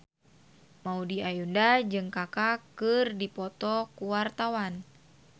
Maudy Ayunda jeung Kaka keur dipoto ku wartawan